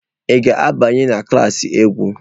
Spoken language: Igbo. Ị ga-abanye na klas egwu?